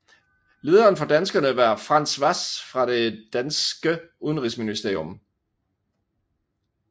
Lederen for danskerne var Frants Hvass fra det danske udenrigsministerium